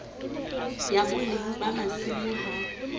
ya boleng ba masimo ha